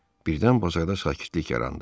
Birdən bazarda sakitlik yarandı.